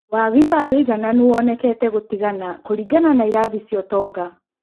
Waagi wa wũigananu wonekete gũtigana kũringana na irathi cia ũtonga